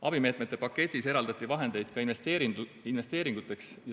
Abimeetmete paketis eraldati vahendeid ka investeeringuteks.